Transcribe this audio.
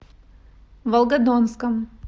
волгодонском